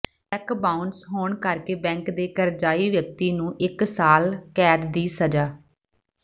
check bounce ਹੋਣ ਕਰਕੇ bank ਦੇ ਕਰਜ਼ਾਈ ਵਿਅਕਤੀ ਨੂੰ ਇਕ ਸਾਲ ਕੈਦ ਦੀ ਸਜ਼ਾ